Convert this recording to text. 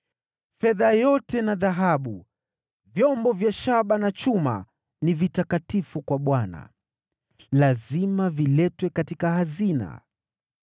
Fedha yote na dhahabu, vyombo vya shaba na chuma ni vitakatifu kwa Bwana , lazima viletwe katika hazina yake.”